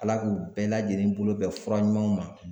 Ala k'u bɛɛ lajɛlen bolo bɛn fura ɲumanw ma